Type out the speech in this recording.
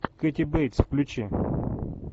кэти бейтс включи